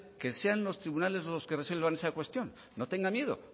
que sean los tribunales los que resuelvan esa cuestión no tenga miedo